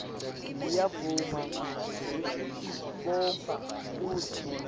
ngiyavuma ngekutibopha kutsi